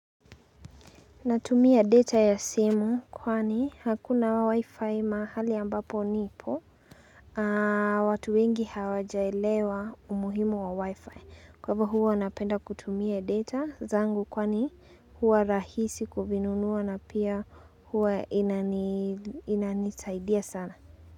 Natumia data ya simu kwani hakuna wi-fi mahali ambapo nipo. Watu wengi hawajaelewa umuhimu wa wi-fi. Kwa hivyo huwa napenda kutumia data zangu kwani huwa rahisi kuvinunua na pia huo inani inanisaidia sana.